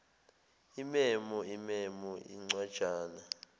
imemo imemo incwajana